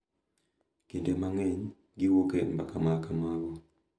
Kinde mang’eny, giwuok e mbaka ma kamago.